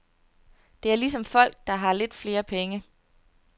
Det er ligesom folk, der har lidt flere penge.